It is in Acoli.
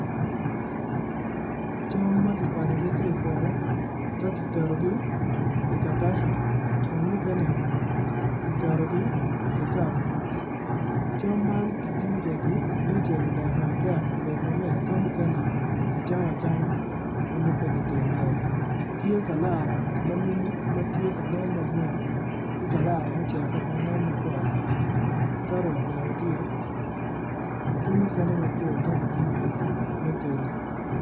Cam ma kikwanyogi ka i poto ka kiketo gi i katasa kun mukene kiketogi i kikikaba cam man kitiyo kwedgi me cilo daba dek obed ma mit ka mukene kicamo acama manongo peki tedo kwede tye kalara manumu matye ka nen ma grin ki kalara ma oceko manen makwar karot bene tye ki mukene mapol makitiyo kwedgi me tedo